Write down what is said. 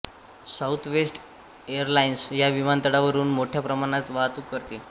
southwest Airlines या विमानतळावरून मोठ्या प्रमाणात वाहतूक करते